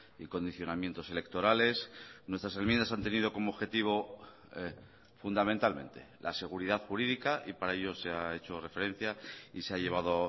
y condicionamientos electorales nuestras enmiendas han tenido como objetivo fundamentalmente la seguridad jurídica y para ello se ha hecho referencia y se ha llevado